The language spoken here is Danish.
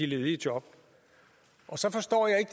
ledige job så forstår jeg ikke